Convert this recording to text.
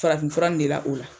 Farafinfura de la, o la.